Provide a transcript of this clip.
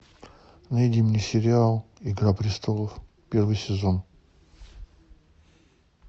найди мне сериал игра престолов первый сезон